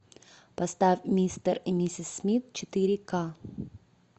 поставь мистер и миссис смит четыре ка